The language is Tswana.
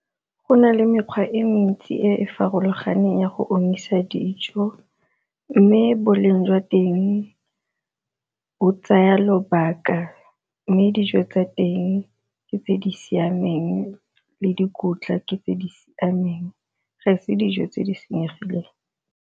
Go na le mekgwa e ntsi e e farologaneng ya go omisa dijo mme boleng jwa teng o tsaya lobaka, mme dijo tsa teng ke tse di siameng le dikotla ke tse di siameng ga e se dijo tse di senyegileng.